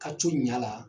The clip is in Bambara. Ka co ɲa la